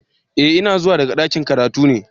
Eh ina zuwa daga dakin karatu ne.